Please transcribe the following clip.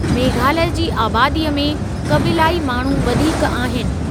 मेघालय जी आबादीअ में क़बीलाई माण्हू वधीक आहिनि।